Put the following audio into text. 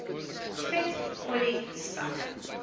vet olie spek